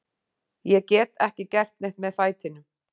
Ég get ekki gert neitt með fætinum.